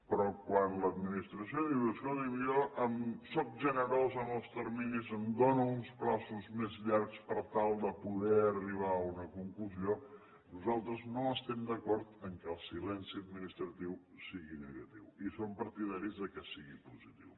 però quan l’administració diu escolti’m jo sóc generós amb els terminis em dono uns terminis més llargs per tal de poder arribar a una conclusió nosaltres no estem d’acord que el silenci administratiu sigui negatiu i som partidaris que sigui positiu